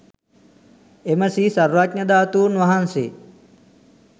එම ශ්‍රී සර්වඥ ධාතුන් වහන්සේ